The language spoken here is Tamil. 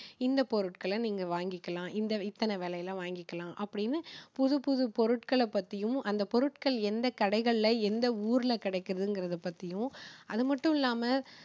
இந்த பொருட்களை நீங்க வாங்கிக்கலாம். இந்த இத்தனை விலைல வாங்கிக்கலாம். அப்படின்னு புது புது பொருட்களை பத்தியும் அந்த பொருட்கள் எந்த கடைகளில எந்த ஊர்ல கிடைக்கிறதுங்கறதை பத்தியும் அது மட்டுமில்லாம